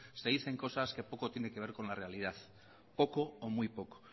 se dicen cosas que poco tiene que ver con la realidad poco o muy poco